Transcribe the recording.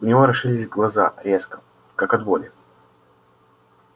у него расширились глаза резко как от боли